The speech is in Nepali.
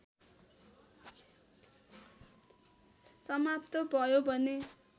समाप्त भयो भने